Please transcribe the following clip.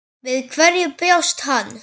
Við hverju bjóst hann?